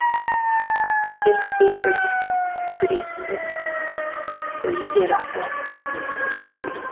көрге түспей көресің көресіңді өзі де рас алланың сөзі де рас